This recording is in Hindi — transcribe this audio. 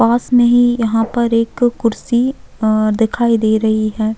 पास में ही यहाँ पर एक कुर्सी अ दिखाई दे रही है।